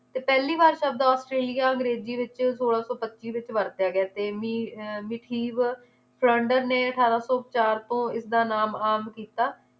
ਤੇ ਪਹਿਲੀ ਵਾਰ ਸਬਦ ਔਸਟ੍ਰੇਲਿਆ ਅੰਗਰੇਜ਼ੀ ਵਿਚ ਸੋਲਾਂ ਸੌ ਪੱਚੀ ਵਿਚ ਵਰਤਿਆ ਗਿਆ ਤੇ ਮੀ~ ਮਿਥੀਵ ਚੰਡ ਨੇ ਅਠਾਰਾਂ ਸੌ ਚਾਰ ਤੋਂ ਇਸਦਾ ਨਾਮ ਆਮ ਕੀਤਾ